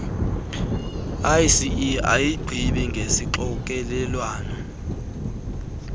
iec ayigqibi ngesixokelelwano